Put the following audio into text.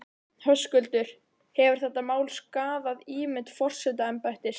Höskuldur: Hefur þetta mál skaðað ímynd forsetaembættis?